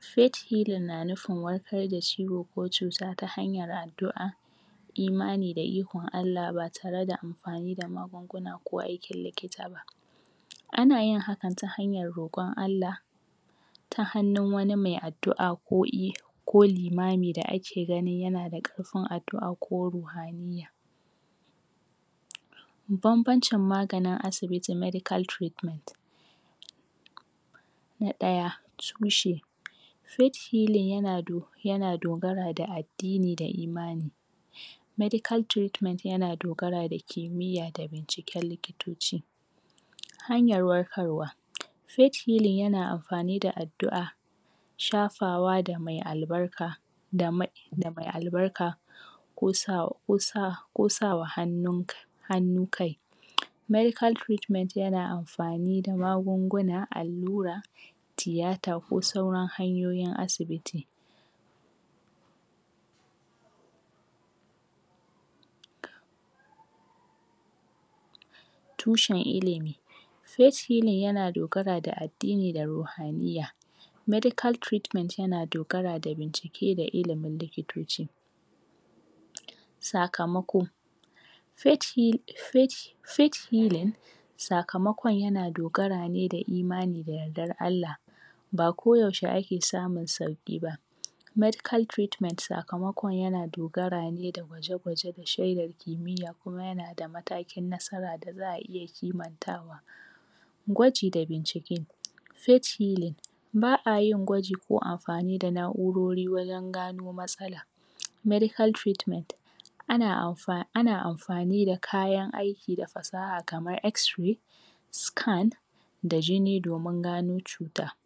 Fet hilin na nufin wakar da ciwo ko cuta ta hanyan addu a imani da ikon Allah batare da amfani da magunguna ko aikin likita ana yin hakan ta hanyan rokon Allah ta hannun wani mai addu a ko i ko limami da ake gani yana da karfin addu a ko ruhaniyya babbanci maganin asibiti medical treatment na ɗaya tushe fet hilin yana dogara da addini da imani medical treatment yana dogara da kimiyya da binciken liki toci hanyar warkarwa fet hilin yana amfani da addu a shafawa da mai albarka da mai albarka kosa, kosawa hannun hannun kai medical treatment yana amfani da magunguna allura tiyata ko sauran hanyoyin asibiti tushen ilimi fet hilin yana dogara da addini da ruhaniyya medical treatment yana dogara da bincike da ilimin liki toci sakamako fet hilin, fet hilin sakamakon yana dogara ne da imani da yaddan Allah bako yaushe ake samun sauki ba me dical treatment sakamakon yana dogarane gwaje gwaje da shedan kimiyya kuma yanada mataki cikin nasara da za iya kiman tawa gwaji da bincike fet hilin ba'ayin gwaji ko amfani da na urori wajan gano matsala medical treatment ana amfani, ana amfani da kayan aiki ki da fasaha kaman esrai scan da jini domin gano cuta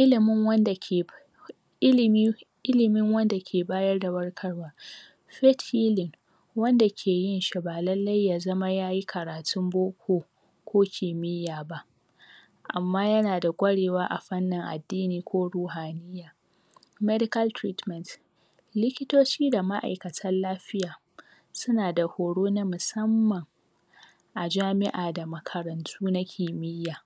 ilimin wanda ke ilimi ilimun wanda ke bayar da warkarwa fet hilin wanda ke yinshi ba lalle yazama yayi katun boko ko ki miyya ba amma yana da kwarewa a fannin addini ko ruhanai medical treatment likitoci da ma aikatan lafiya sunada horo na musamman ajami'a da makarantu na kimiyya